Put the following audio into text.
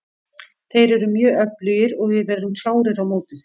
Þeir eru mjög öflugir og við verðum klárir á móti þeim.